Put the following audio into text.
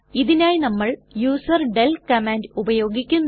ഇതിനായി നമ്മൾ user del command ഉപയോഗിക്കുന്നു